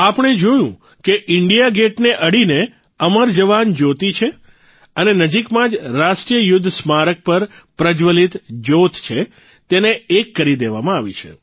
આપણે જોયું કે ઇન્ડિયા ગેટને અડીને અમર જવાન જયોતિ છે અને નજીકમાં જ રાષ્ટ્રીય યુદ્ધ સ્મારક પર પ્રજ્જવલિત જયોત છે તેને એક કરી દેવામાં આવી છે